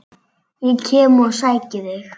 Ég kem og sæki þig!